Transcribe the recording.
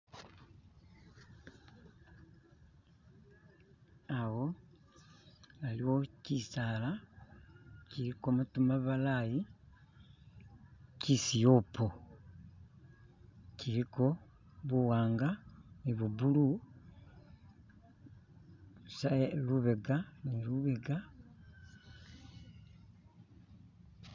awo aliwo chisaala chiliko matu mabalayi chisiyopo chiliko buwanga nibu bulu lubega ni lubega